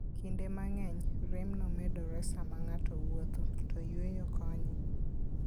Kinde mang'eny, remno medore sama ng'ato wuotho, to yweyo konyone.